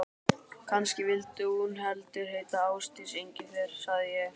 Kannski vildi hún heldur heita Ásdís Engifer, sagði ég.